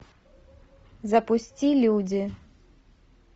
запусти люди